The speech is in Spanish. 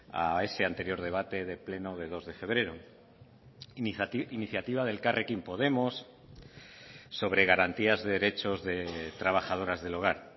a ese anterior debate de pleno de dos de febrero iniciativa de elkarrekin podemos sobre garantías de derechos de trabajadoras del hogar